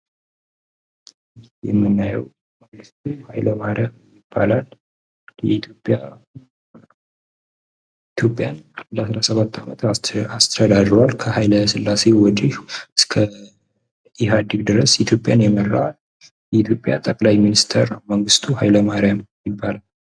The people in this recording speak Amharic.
የምናየው መንግስቱ ኃይለ ማርያም ይባላል። ኢትዮጵያን ለ17 አመት አስተዳድሯል። ከሀይለ ስላሴ በኋላ እስከ ኢሀዲግ ድረስ ኢትዮጵያን የመራ የኢትዮጵያ ጠቅላይ ሚኒስትር መንግስቱ ኃይለ ማርያም ይባላል።